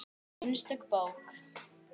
Einstök bók.